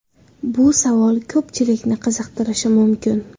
Bu savol ko‘pchilikni qiziqtirishi mumkin.